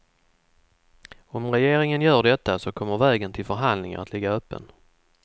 Om regeringen gör detta så kommer vägen till förhandlingar att ligga öppen.